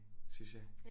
Synes jeg